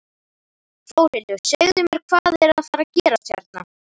Þórhildur, segðu mér, hvað er að fara gerast hérna?